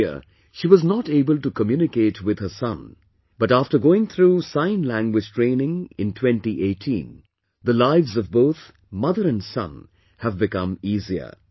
Earlier she was not able to communicate with her son, but after going through Sign Language training in 2018, the lives of both mother and son have become easier